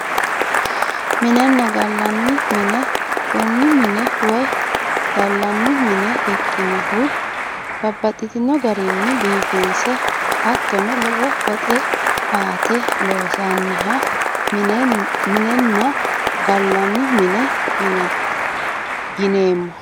Minenna gallanni mine kuni mine woyi gallanni mine ikkinohu babbaxxino garinni biifinse hattono lowo woxe baante loonsanniha minenna gallanni mine yineemmo